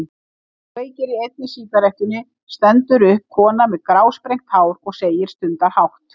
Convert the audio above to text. Þegar hann kveikir í seinni sígarettunni stendur upp kona með grásprengt hár og segir stundarhátt.